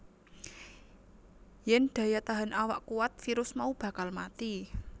Yen daya tahan awak kuwat virus mau bakal mati